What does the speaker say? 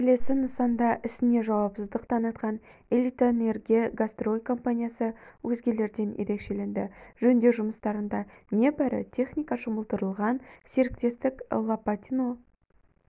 келесі нысанда ісіне жауапсыздық танытқан элитэнергострой компаниясы өзгелерден ерекшеленді жөндеу жұмыстарына небәрі техника жұмылдырылған серіктестік лопатино